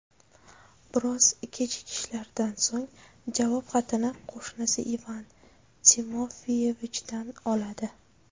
Biroz kechikishlardan so‘ng javob xatini qo‘shnisi Ivan Timofeyevichdan oladi.